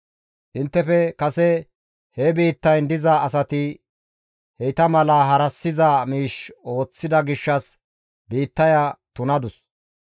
Inttefe kase he biittayn diza asati heyta mala harassiza miish ooththida gishshas biittaya tunadus.